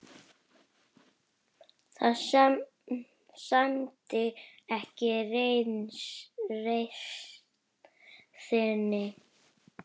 Það sæmdi ekki reisn þinni.